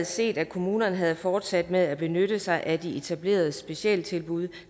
set at kommunerne havde fortsat med at benytte sig af de etablerede specialtilbud